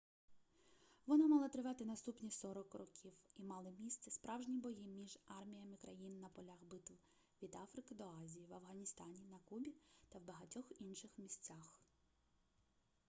вона мала тривати наступні 40 років і мали місце справжні бої між арміями країн на полях битв від африки до азії в афганістані на кубі та в багатьох інших місцях